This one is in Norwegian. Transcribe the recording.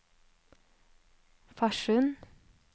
Farsund